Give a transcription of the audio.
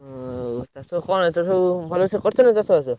ଉଁ ଚାଷ କଣ ଏଥର ସବୁ? ଭଲସେ କରିଛନା ଚାଷ ବାସ?